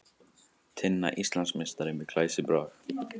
Tinna Íslandsmeistari með glæsibrag